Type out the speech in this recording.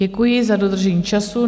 Děkuji za dodržení času.